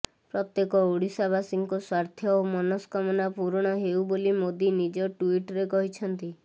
ପ୍ରତ୍ୟେକ ଓଡ଼ିଶାବାସୀଙ୍କ ସ୍ୱାର୍ଥ ଓ ମନସ୍କାମନା ପୂରଣ ହେଉ ବୋଲି ମୋଦି ନିଜ ଟ୍ୱିଟ୍ରେ କହିଛନ୍ତି